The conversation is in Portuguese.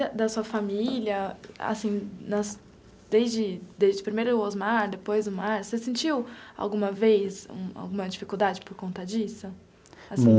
Da sua família assim na, desde desde primeiro o Osmar, depois o Márcio, você sentiu alguma vez alguma dificuldade por conta disso?